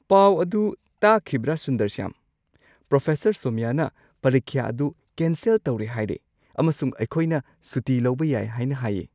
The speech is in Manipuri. ꯄꯥꯎ ꯑꯗꯨ ꯇꯥꯈꯤꯕ꯭ꯔꯥ ꯁꯨꯟꯗꯔꯁ꯭ꯌꯥꯝ? ꯄ꯭ꯔꯣꯐꯦꯁꯔ ꯁꯣꯃ꯭ꯌꯥꯅ ꯄꯔꯤꯈ꯭ꯌꯥ ꯑꯗꯨ ꯀꯦꯟꯁꯦꯜ ꯇꯧꯔꯦ ꯍꯥꯢꯔꯦ ꯑꯃꯁꯨꯡ ꯑꯩꯈꯣꯏꯅ ꯁꯨꯇꯤ ꯂꯧꯕ ꯌꯥꯏ ꯍꯥꯏꯅ ꯍꯥꯏꯌꯦ!